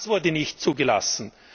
Auch das wurde nicht zugelassen.